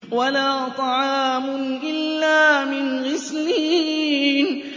وَلَا طَعَامٌ إِلَّا مِنْ غِسْلِينٍ